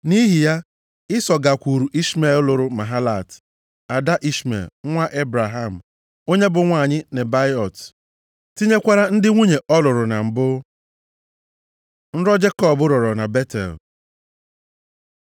Nʼihi ya, Ịsọ gakwuru Ishmel lụrụ Mahalat, ada Ishmel, nwa Ebraham, onye bụ nwanyị Nebaiot, tinyekwara ndị nwunye ọ lụrụ na mbụ. Nrọ Jekọb rọrọ na Betel